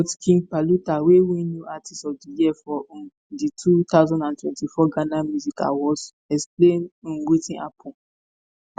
but king paluta wey win new artiste of di year for um di 2024 ghana music awards explain um wetin happun.